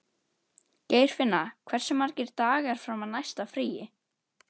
Geirfinna, hversu margir dagar fram að næsta fríi?